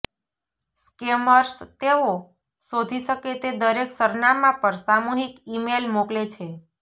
scammers તેઓ શોધી શકે તે દરેક સરનામાં પર સામૂહિક ઇમેઇલ મોકલે છે